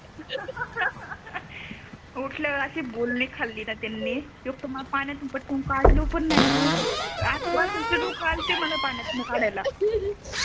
उटल्या वर अशी बोलणी खाली णा त्यांनी एक तर मला पाण्यातून पटकन कडल पण नाही ग आजू बाजूचे लोक आलते मला पाण्यातून काढायला